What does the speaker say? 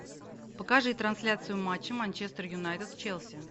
покажи трансляцию матча манчестер юнайтед с челси